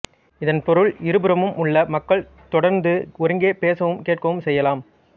இதன் பொருள் இருபுறமும் உள்ள மக்கள் தொடர்ந்து ஒருங்கே பேசவும் கேட்கவும் செய்யலாம்